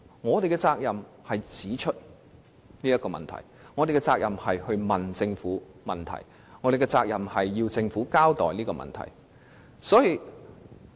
我們有責任指出這些問題，向政府提出問題，以及要求政府向我們作出交代。